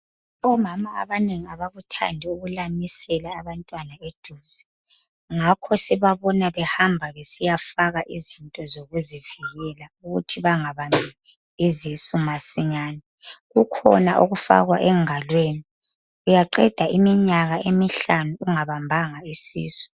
Omama abanengi abakuthandi ukulamisela abantwana eduze. Ngakho sibabona behamba besiyafaka izinto zokuzivikela ukuthi bangabambi izisu masinyani. Kukhona okufakwa engalweni uyaqeda iminyaka emihlanu ungabambanga isisu.